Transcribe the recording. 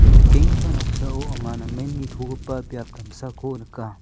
ia nikenggipa noksao anga namen nitogipa biap damsako nika.